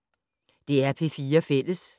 DR P4 Fælles